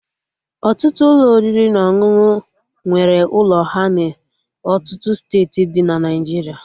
Ọtụtụ Ụlọ oriri na ọṅụṅụ nwere ụlọ ha na ọtụtụ steeti dị na Naijiria